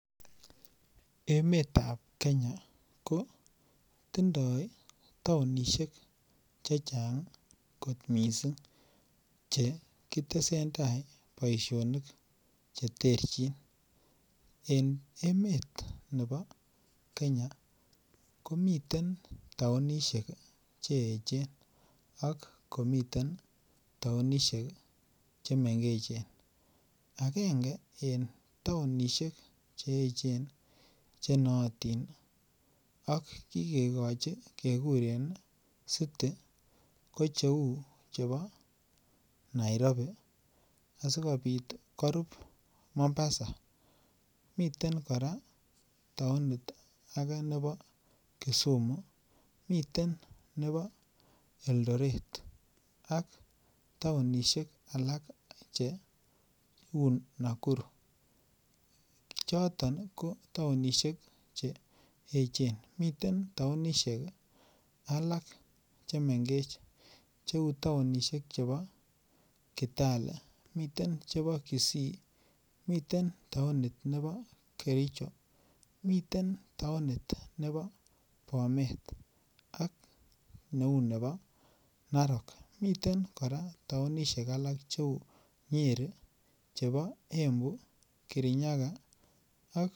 Emeetab Kenya kotinye taonisiek chechang kot missing, chekitesen tai boisionik, cheterchin en emeet nebo Kenya komiten taonisiek, cheechen ak akomiten taonisiek chemengechen. Agenge en taonisiek cheechen ih , chenaatin ih ak kigegochi kekuren ih city. Ko cheuu chebo Nairobi ih akobiit korub Mombasa miten kora taonit nebo Kisumu ih miten nebo Eldoret ih, ak taonisiek alak cheuu Nakuru. Choton ko taonisiek cheechen, miten taosheek alak chemengech cheuu taonisiek cheboo kitale , miten taonit nebo kericho. Miten taonit nebo bomet ih ak neuu nebo narok miten taonisiek alak cheuu nyeri, chebo embu kirinyaga ak.